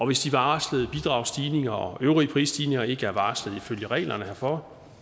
hvis de varslede bidragsstigninger og øvrige prisstigninger ikke er varslet ifølge reglerne herfor